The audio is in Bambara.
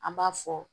An b'a fɔ